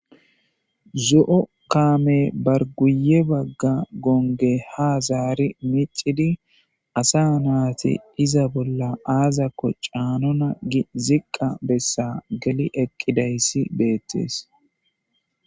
zo'o kaame bar guye bagga gonge ha zaari micidi asa naati iza bolla aazakko caanona gi ziqqa bessa geli eqqidayssi beettees